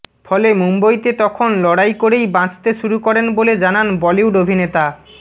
ফলে মুম্বইতে তখন লড়াই করেই বাঁচতে শুরু করেন বলে জানান বলিউড অভিনেতা